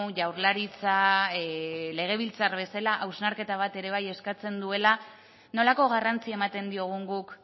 jaurlaritza legebiltzar bezala hausnarketa bat ere bai eskatzen duela nolako garrantzia ematen diogun guk